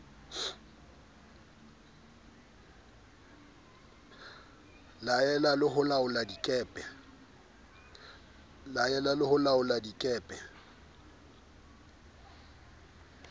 laela le ho laolla dikepe